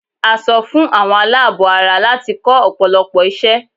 A sọ fún àwọn aláàbọ̀ ara láti kọ́ ọ̀pọ̀lọpọ̀ iṣẹ́